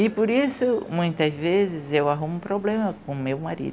E por isso muitas vezes eu arrumo um problema com o meu marido.